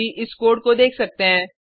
आप अभी इस कोड को देख सकते हैं